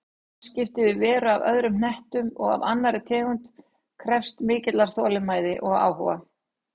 Samskipti við veru af öðrum hnetti og af annarri tegund krefðist mikillar þolinmæði og áhuga.